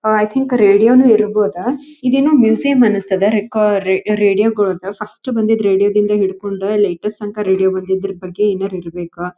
ಆ I think radio ನು ಇರಬಹುದ ಇದೇನೋ ಮ್ಯೂಸಿಯಂ ಅನಿಸ್ತದ ರೆಕಾ ರೇಡಿಯೋ ರೇಡಿಯೋ ಗಳದ್ದು ಫಸ್ಟ್ ಬಂದಿದ್ ರೇಡಿಯೋ ದಿಂದ ಹಿಡಕೊಂಡ ಲೇಟೆಸ್ಟ್ ತನಕ ರೇಡಿಯೋ ಬಂದದ್ದರ ಬಗ್ಗೆ ಏನಾರ ಇರಬೇಕ.